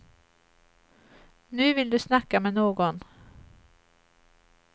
Nu vill du snacka med någon.